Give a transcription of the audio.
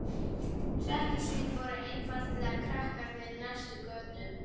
Hrekkjusvín voru einfaldlega krakkarnir í næst næstu götu.